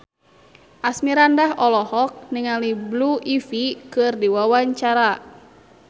Asmirandah olohok ningali Blue Ivy keur diwawancara